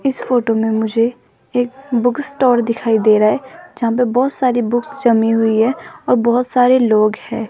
इस फोटो में मुझे एक बुक स्टोर दिखाई दे रहा है जहां पर बहुत सारी बुक्स जमी हुई है और बहुत सारे लोग हैं।